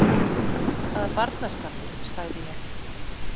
Hvaða barnaskapur sagði ég.